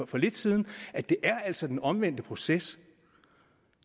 for lidt siden det er altså den omvendte proces